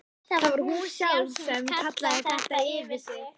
Það var hún sjálf sem kallaði þetta yfir sig.